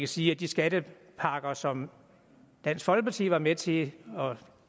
sige at de skattepakker som dansk folkeparti var med til at